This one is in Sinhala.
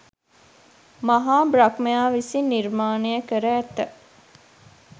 මහා බ්‍රහ්මයා විසින් නිර්මාණය කර ඇත.